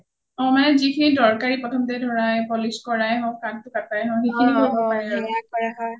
ওম মানে যিখিনি দৰকাৰী প্ৰথমতে ধৰাই polish কৰায়ে হওঁক কাঠ কাতায়ে হওঁক হিখিনি মানে